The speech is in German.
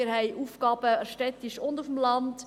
Wir haben Aufgaben in der Stadt und auf dem Land.